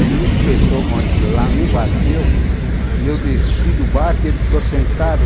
Ele me espetou com aquilo lá, me bateu, e eu desci do barco e ele ficou sentado.